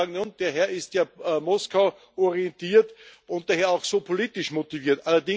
Jetzt kann man sagen Ja und, der Herr ist ja Moskau orientiert und daher auch so politisch motiviert.